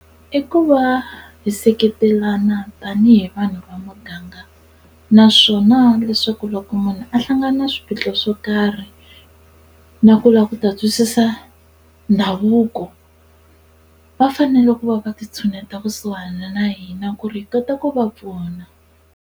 I ku va hi seketelana tanihi vanhu va muganga naswona leswaku loko munhu a hlangana na swiphiqo swo karhi na ku lava ku ta twisisa ndhavuko va fanele ku va va ti tshuneta kusuhana na hina ku ri hi kota ku va pfuna.